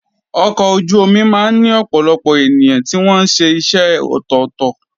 Ọkọ̀ ojú omi máa ń ní ọ̀pọ̀lọpọ̀ ènìyàn tí wọ́n ṣe iṣẹ́ ọ̀tọ̀ọ̀tọ̀.